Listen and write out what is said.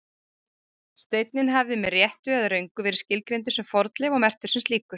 Steinninn hafði með réttu eða röngu verið skilgreindur sem fornleif og merktur sem slíkur.